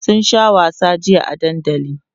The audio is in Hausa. sun Sha wasa jiya a dandali